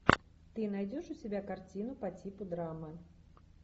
ты найдешь у себя картину по типу драмы